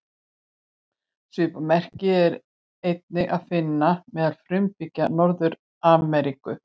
Svipað merki er einnig að finna meðal frumbyggja Norður-Ameríku.